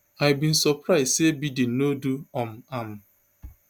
i bin surprise say biden no do um am